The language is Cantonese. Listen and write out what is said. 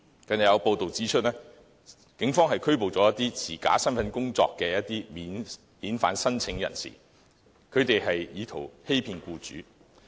近日有報道指出，警方拘捕了持假身份證工作的免遣返聲請人士，他們意圖欺騙僱主。